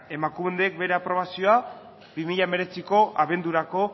emakunde bere aprobazioa bi mila hemeretziko abendurako